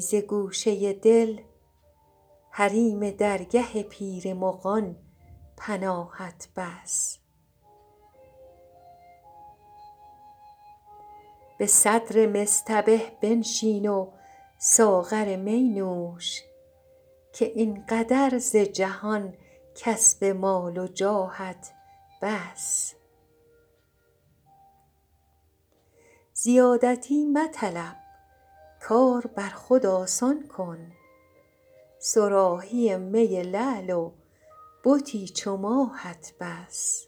ز گوشه دل حریم درگه پیر مغان پناهت بس به صدر مصطبه بنشین و ساغر می نوش که این قدر ز جهان کسب مال و جاهت بس زیادتی مطلب کار بر خود آسان کن صراحی می لعل و بتی چو ماهت بس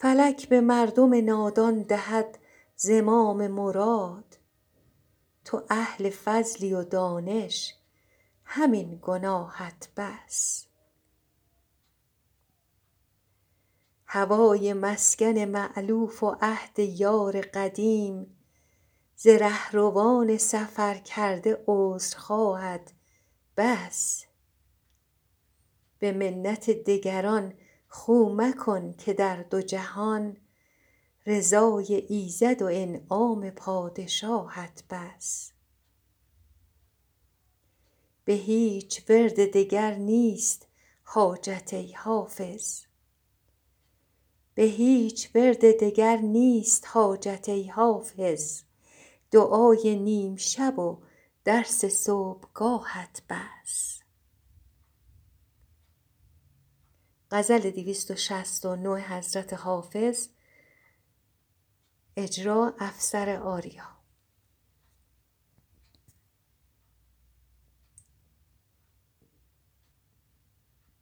فلک به مردم نادان دهد زمام مراد تو اهل فضلی و دانش همین گناهت بس هوای مسکن مألوف و عهد یار قدیم ز رهروان سفرکرده عذرخواهت بس به منت دگران خو مکن که در دو جهان رضای ایزد و انعام پادشاهت بس به هیچ ورد دگر نیست حاجت ای حافظ دعای نیم شب و درس صبحگاهت بس